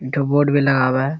एक ठो बोर्ड भी लगाव हे।